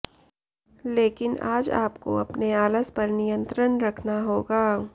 लेकिन आज आपको अपने आलस पर नियंत्रण रखना होगा